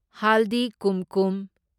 ꯍꯥꯜꯗꯤ ꯀꯨꯝꯀꯨꯝ